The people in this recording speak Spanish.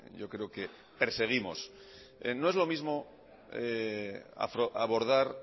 yo creo que perseguimos no es lo mismoabordar